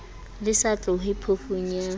le sa tlohe phofung ya